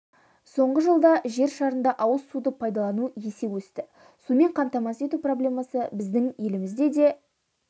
соңғы жылда жер шарында ауыз суды пайдалану есе өсті сумен қамтамасыз ету проблемасы біздің елімізде де